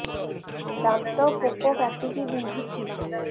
ଦାନ୍ତ ପୋକ କାଟିକି ବିନ୍ଧୁଛି